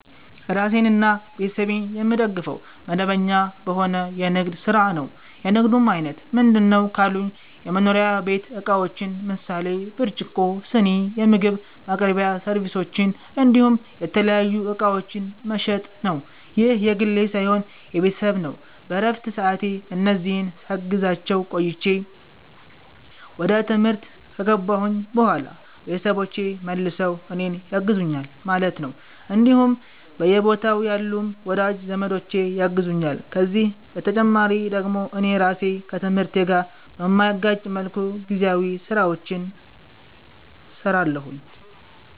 ራሴንና ቤተሰቤን የምደግፈዉ፦ መደበኛ በሆነ የንግድ ስራ ነዉ። የንግዱም አይነት ምንድነዉ ካሉኝ የመኖሪያ ቤት እቃዎችን ምሳሌ፦ ብርጭቆ, ስኒ, የምግብ ማቅረቢያ ሰርቪሶች እንዲሁም የተለያዩ እቃዎችን መሸጥ ነዉ። ይህ የግሌ ሳይሆን የቤተሰብ ነዉ በረፍት ሰዓቴ እነዚህን ሳግዛቸዉ ቆይቼ ወደ ትምህርት ከገባሁኝ በኋላ ቤተሰቦቼ መልሰዉ እኔን ያግዙኛል ማለት ነዉ እንዲሁም በየቦታዉ ያሉም ወዳጅ ዘመዶቼ ያግዙኛል ከዚህ በተጨማሪ ደግሞ እኔ ራሴ ከትምህርቴ ጋር በማይጋጭ መልኩ ጊዜያዊ ስራዎችንም ሰራለሁኝ